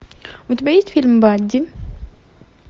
у тебя есть фильм бадди